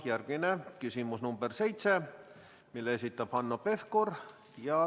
Järgmine küsimus, nr 7, mille esitab Hanno Pevkur.